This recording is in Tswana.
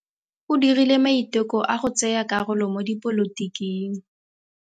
O dirile maitekô a go tsaya karolo mo dipolotiking.